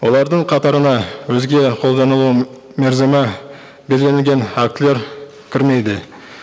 олардың қатарына өзге қолданылу мерзімі белгіленген актілер кірмейді